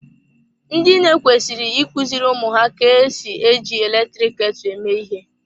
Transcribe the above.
Ndị nne kwesịrị ị kuziri ụmụ ha ka-esi eji eletrik ketu eme ihe.